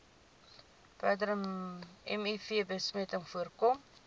verdere mivbesmetting voorkom